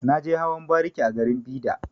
Na je hawan bariki a garin Bida.